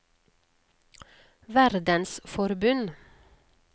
verdensforbund